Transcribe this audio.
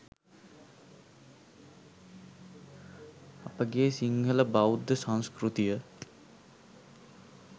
අපගේ සිංහල බෞද්ධ සංස්කෘතිය